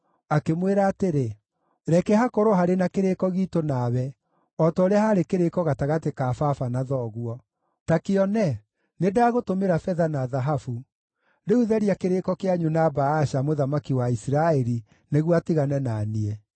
Akĩmwĩra atĩrĩ, “Reke hakorwo harĩ na kĩrĩĩko giitũ nawe o ta ũrĩa haarĩ kĩrĩĩko gatagatĩ ka baba na thoguo. Ta kĩone, nĩndagũtũmĩra betha na thahabu. Rĩu tharia kĩrĩĩko kĩanyu na Baasha, mũthamaki wa Isiraeli nĩguo atigane na niĩ.”